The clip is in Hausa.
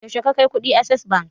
Yaushe ka kai kuɗin access bank?